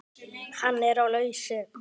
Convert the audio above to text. Hann er á lausu.